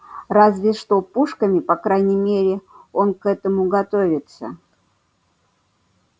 разве что пушками по крайней мере он к этому готовится